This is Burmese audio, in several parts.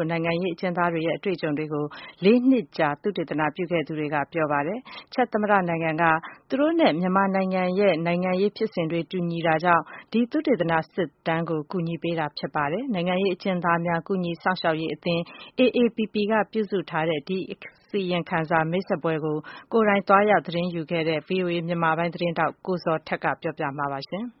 ာ့နိုင်ငံရေး အကျဉ်းသားတွေရဲ့ အတွေ့အကြုံတွေကို လေးနှစ်ကြာပြုစုခဲ့တဲ့ သုတေသနစစ်တမ်းထဲမှာ ပါဝင်သူတွေက ပြောပါတယ်။ ချက်သမ္မတနိုင်ငံရဲ့ နိုင်ငံရေးဖြစ်စဉ်နဲ့ မြန်မာနိုင်ငံရဲ့ နိုင်ငံရေးဖြစ်စဉ် အခြေအနေတွေ တူညီတာကြောင့် ဒီသုတေသပြုစုတဲ့အစီအစဉ်ကို ကူညီပေးတာဖြစ်တာ ဖြစ်ပါတယ်။ နိုင်ငံရေးအကျဉ်းသားများ ကူညီစောင့်ရှောက်ရေးအသင်း AAPP က ပြုစုထားတဲ့ ဒီအစီရင်ခံစာ မိတ်ဆက်ပွဲကို ကိုယ်တိုင်သွားရောက်ခဲ့တဲ့ ဗွီအိုအေ မြန်မာပိုင်းသတင်းထောက် ကိုဇော်ထက်က ပြောပြပေးမှာဖြစ်ပါတယ်။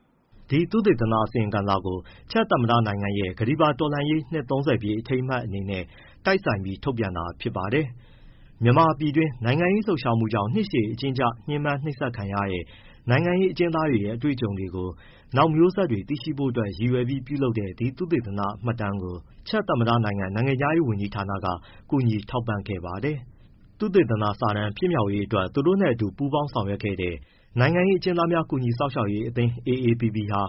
ဒီ သုတေသန အစီရင်ခံစာကို ချက်သမ္မတနိုင်ငံရဲ့ ကတ္တီပါတော်လှန်ရေး နှစ် ပြည့်အထိမ်းအမှတ်နဲ့ တိုက်ဆိုင်ပြီး ထုတ်ပြန်တာဖြစ်ပါတယ်။ မြန်မာပြည်တွင်း နိုင်ငံရေးလှုပ်ရှားမှုကြောင့် နှစ်ရှည်အကျဉ်းကျ ညှဉ်းပန်းနှိပ်စက်ခံခဲ့ရတဲ့ နိုင်ငံရေးအကျဉ်းသားတွေရဲ့ အတွေ့အကြုံတွေကို နောက်မျိုးဆက်တွေ သိရှိဖို့ရ့ည်ရွယ် ပြုလုပ်တဲ့ ဒီသုတေသနမှတ်တမ်းကို ချက်သမ္မတနိုင်ငံ နိုင်ငံခြားရေးဝန်ကြီးဌာက ကူညီထောက်ပံ့ခဲ့ပါတယ်။ သုတေသနစာတမ်း ဖြစ်မြောက်ရေးအတွက် သူတို့နဲ့အတူ ပူးပေါင်းဆောင်ရွက်ခဲ့တဲ့ နိုင်ငံရေးအကျဉ်းသားများ ကူညီစောင့်ရှောက်ရေးအသင်း AAPP ဟာ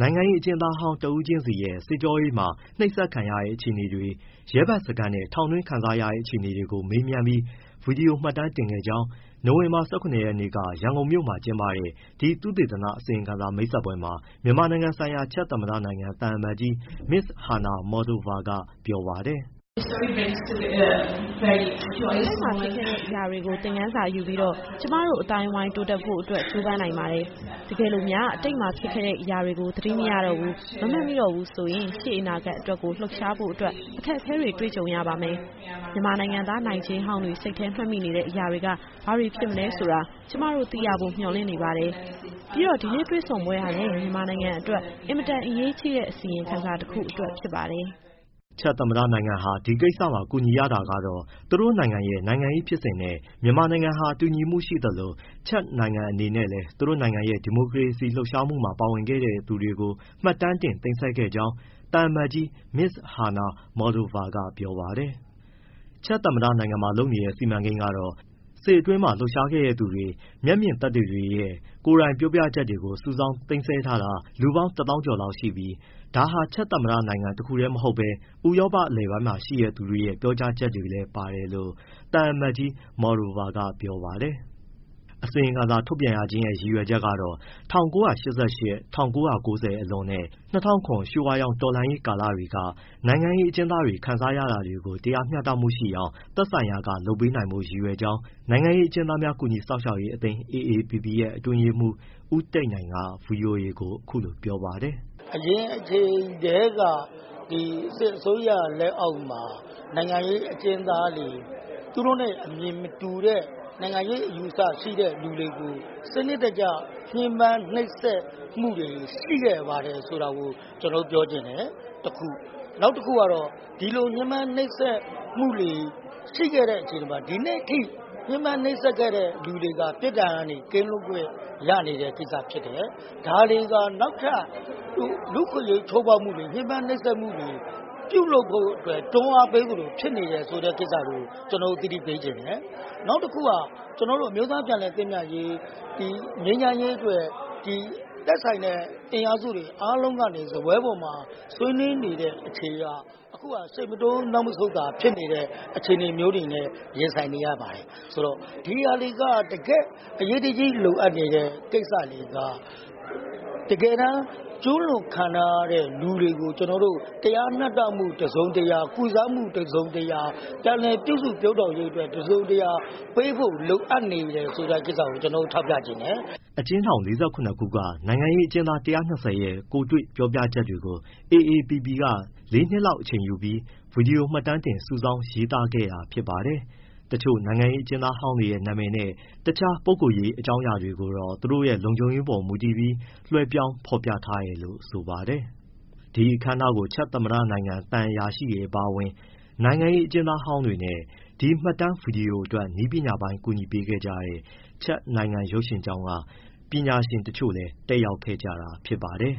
နိုင်ငံရေးအကျဉ်းသားဟောင်း တဦးချင်းစီရဲ့ စစ်ကြောရေးမှာ နှိပ်စက်ခံရတဲ့ အခြေအနေတွေ၊ ရဲဘက်စခန်းနဲ့ ထောင်တွင်းခံစားရတဲ့ အခြေအနေတွေကို မေးမြန်း ဗွီဒီယိုမှတ်တမ်းတင်ခဲ့ကြောင်း နိုဝင်ဘာ ၁၇ရက်နေ့က ရန်ကုန်မြို့ ကျင်းပတဲ့ ဒီသုတေသန အစီရင်ခံစာ မိတ်ဆက်ပွဲမှာ မြန်မာနိုင်ငံဆိုင်ရာ ချက်သမ္မနိုင်ငံ သံအမတ်ကြီး Ms. Hana Mottlova က ပြောပါတယ်။ “ ကျမတို့ အတိတ်မှာ ဖြစ်ခဲ့တဲ့အရာတွေကို ကျမတို့ သင်ခန်းစာယူပြီးတော့ ကျမတို့ အသိုင်းအဝန်း တိုးတက်ဖို့ အတွက် ကြိုးပမ်းနိုင်ပါတယ်။ တကယ်လို့များ အတိတ်မှာ ဖြစ်ခဲ့တဲ့အရာတွေကို သတိမရတော့ဘူး၊ မမှတ်မိတော့ဘူး ဆိုရင် ရှေ့အနာဂတ်အတွက်ကို လှုပ်ရှားဖို့အတွက်ကို အခက်အခဲတွေ့ကြုံရပါမယ်။ မြန်မာနိုင်ငံသား နိုင်ကျဉ်းဟောင်းတွေ စိတ်ထဲ မှတ်မိနေတဲ့ အရာတွေက ဘာတွေဖြစ်မလဲဆိုတာ ကျမသိရဖို့ မျှော်လင့်နေပါတယ်။ ပြီးတော့ ဒီနေ့တွေ့ဆုံပွဲ ဟာလည်း မြန်မာနိုင်ငံအတွက် အင်မတန်အရေးကြီးတဲ့ အစီရင်ခံစာ တစ်ခုအတွက် ဖြစ်ပါတယ်။” ချက်သမ္မတနိုင်ငံက ဒီကိစ္စမှာပါဝင်ကူညီရတာတော့ သူ့နိုင်ငံရဲ့ နိုင်ငံရေးဖြစ်စဉ်နဲ့ မြန်မာနိုင်ငံဟာ တူညီမှုရှိသလို ချက်နိုင်ငံအနေနဲ့လည်း သူတို့ရဲ့ ဒီမိုကရေစီအရေး လှုပ်ရှားမှုမှာ ပါဝင်ခဲ့တဲ့ သူတွေကို မှတ်တမ်းတင်သိမ်းဆည်းထားကြောင်း သံအမတ်ကြီး Ms. Hana Mottlova က ပြောပါတယ်။ ချက်သမ္မတနိုင်ငံမှာလုပ်နေတဲ့ စီမံကိန်းကတော့ စစ်အတွင်း လှုပ်ရှားပါဝင်ခဲ့သူတွေ၊ မျက်မြင်သက်သေတွေရဲ့ ကိုယ်တိုင်ပြောပြချက်တွေကို စုဆောင်း၊ သိမ်းဆည်းထားတာ လူပေါင်း ၁သောင်းကျော် လောက်ရှိပြီး ဒါက ချက်သမ္မတနိုင်ငံ တခုတည်းမဟုတ်ဘဲ ဥရောပ အလယ်ပိုင်းမှာရှိတဲ့သူတွေရဲ့ ပြောကြားချက်တွေလည်း ပါတယ်လို့ သံအမတ်ကြီး Mottlova က ပြောပါတယ်။ အစီရင်ခံစာ ထုတ်ပြန်ရခြင်းရဲ့ ရည်ရွယ်ချက်ကတော့ ၁၉၈၈- ၁၉၉၀ အလွန်နဲ့ ၂၀၀၇ ရွှေဝါရောင် တော်လှန်ရေးကာလတွေက နိုင်ငံရေးအကျဉ်းသားတွေ ခံစားရတာတွေကို တရားမျှတမှုရှိအောင် သက်ဆိုင်ရာက လုပ်ပေးနိုင်ဖို့ရည်ရွယ်ကြောင်း နိုင်ငံရေးအကျဉ်းသားများ ကူညီစောင့်ရှောက်ရေးအသင်း AAPP ရဲ့ အတွင်းရေးမှူး ဦးတိတ်နိုင်က ဗွီအိုအေကို အခုလိုပြောပါတယ်။ “ အရင်အချိန်ကတည်းက စစ်အစိုးရလက်အောက်မှာ နိုင်ငံရေးအကျဉ်းသားတွေ၊ သူတို့နဲ့ အမြင်မတူတဲ့ နိုင်ငံရေးအယူအဆ ရှိတဲ့သူတွေကို စနစ်တကျ နှိပ်စက်၊ ညှဉ်းပန်းမှုတွေ ရှိခဲ့ပါတယ်ဆိုတာကို ကျနော်တို့ ပြောချင်တယ်။ နောက်တခုကတော့ ဒီလိုနှိပ်စက် ညှဉ်းပန်း၊ နှိပ်စက်မှုတွေ ရှိခဲ့တဲ့ အခြေအနေမှာ ဒီနေ့အထိ ညှဉ်းပန်းနှိပ်စက်ခဲ့တဲ့သူတွေက ပြစ်ဒဏ်ကနေ ကင်းလွတ်ခွင့်ရနေတဲ့ ကိစ္စဖြစ်တယ်။ ဒါတွေဟာနောက်ထပ် လူ့အခွင့်အရေး ချိုးဖောက်မှုတွေ၊ ညှဉ်းပန်း၊ နှိပ်စက်မှုတွေ ပြုလုပ်ဖို့အတွက် တွန်းအားပေးသလို ဖြစ်နေတဲ့ကိစ္စကို ကျနော်တို့ သတိပေးချင်တယ်။ နောက်တခုက အမျိုးသားပြန်လည် သင့်မြတ်ရေး၊ ငြိမ်းချမ်းရေးအတွက် သက်ဆိုင်တဲ့ အင်အားစုတွေ အားလုံးကနေ စားပွဲပေါ်မှာ ဆွေးနွေးနေတဲ့ အခြေအနေဟာ ရှေ့မတိုး၊ နောက်မဆုတ် အခြေအနေနဲ့ ရင်ဆိုင်နေရပါတယ်။ ဒီဟာတွေက တကယ့်အရေးတကြီး လိုအပ်နေတဲ့ကိစ္စတွေက တကယ်တမ်း ကျူးလွန်ခံထားရတဲ့လူတွေကို ကျနော်တို့ တရားမျှတမှု တစုံတရာ၊ ကုစားမှုတစုံတရာ၊ ပြန်လည်ပြုစု ပျိုးထောင်ရေးအတွက် တစုံတရာ ပေးဖို့အပ်နေတယ်ဆိုတဲ့ကိစ္စကို ကျနော်တို့ ထောက်ပြချင်တယ်။” အကျဉ်းထောင် ၄၇ခုက နိုင်ငံရေးအကျဉ်းသား ၁၂၀ ရဲ့ ကိုယ်တွေ့ ပြောပြချက်တွေကို AAPP က လေးနှစ်လောက် အချိန်ယူပြီး ဗွီဒီယိုမှတ်တမ်းတင် စုဆောင်း၊ ရေးသားခဲ့တာ ဖြစ်ပါတယ်။ တချို့နိုင်ငံရေး အကျဉ်းသားဟောင်းတွေရဲ့ နာမည်နဲ့ အခြားပုဂ္ဂိုလ်ရေး အကြောင်းအရာတွေကိုတော့ သူတို့ရဲ့ လုံခြုံရေးအပေါ်မူတည်ပြီး လွှဲပြောင်း ဖော်ပြထားတယ်လို့ ဆိုပါတယ်။ ဒီအခမ်းအနားကို ချက်သမ္မတနိုင်ငံ သံအရာရှိတွေအပါအဝင်၊ နိုင်ငံရေးအကျဉ်းသားဟောင်းတွေနဲ့၊ ဒီမှတ်တမ်း ဗွီဒီယိုအတွက် နည်းပညာအပိုင်း ကူညီပေးခဲ့ကြတဲ့ ချက်နိုင်ငံရုပ်ရှင်ကျောင်းက ပညာရှင်တချို့လည်း တက်ရောက်ခဲ့တာ ဖြစ်ပါတယ်။